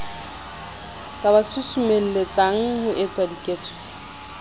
ka ba susumelletsang ho etsadiketso